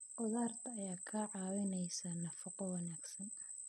Khudaarta ayaa kaa caawinaysa nafaqo wanaagsan.